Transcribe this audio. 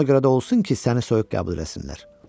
Ona görə də olsun ki, səni soyuq qəbul eləsinlər.